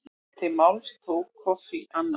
Til máls tók Kofi Annan.